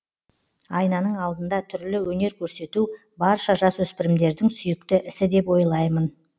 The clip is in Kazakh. айнаның алдында түрлі өнер көрсету барша жасөспірімдердің сүйікті ісі деп ойлаймын